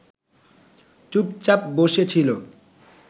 চুপচাপ বসে ছিল